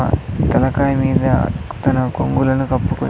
తలకాయ మీద తన కొంగులను కప్పుకొని.